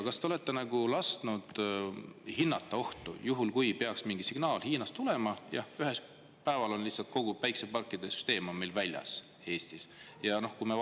Kas te olete lasknud hinnata sellist ohtu, kui ühel päeval peaks Hiinast tulema mingi signaal ja meil Eestis on lihtsalt kogu päikeseparkide süsteem meil väljas?